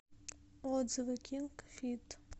отзывы кинг фит